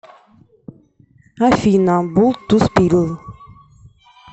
афина булт ту спилл